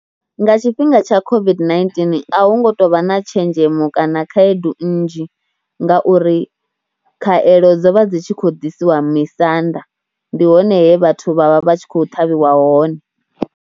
Nga tshifhinga tsha COVID-19 hu ngo tou vha na tshenzhemo kana khaedu nnzhi nga uri khaeḽo dzo vha dzi tshi khou ḓisiwa misanda. Ndi hone he vhathu vha vha vha tshi khou ṱhavhiwa hone.